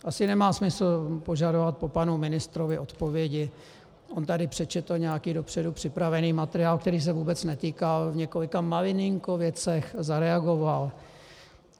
Asi nemá smysl požadovat po panu ministrovi odpovědi, on tady přečetl nějaký dopředu připravený materiál, který se vůbec netýkal, v několika malilinko věcech zareagoval.